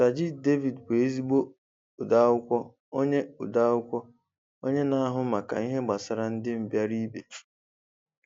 Sajid Javid bụ ezigbo odeakwụkwọ, onye odeakwụkwọ, onye na-ahụ maka ihe gbasara ndị mbịara ibe.